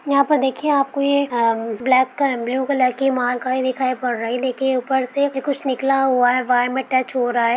यहा पर देखिये आपको ये ब्लैक का ब्लू कलर में माल गाड़ी दिख रही है देखिए उपर से निकला हुआ है वायर मैं टच हो रहा है।